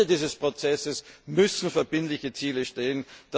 Aber am Ende dieses Prozesses müssen verbindliche Ziele stehen.